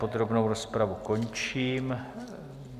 Podrobnou rozpravu končím.